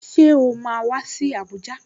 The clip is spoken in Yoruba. Ṣé o máa wá sí Abuja?